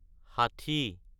ষাঠি